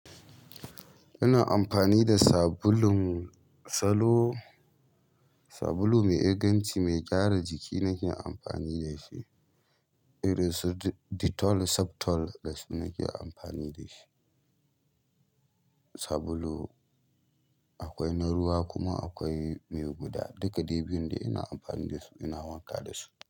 Ina amfani da sabulun salo, sabulu mai inganci mai gyara jiki nake amfani da shi irin su Dettol, Septol dasu nake amfani da shi. Sabulu akwai na ruwa kuma akwai mai guda, duka dai biyun ina amfani da su, ina wanka da su.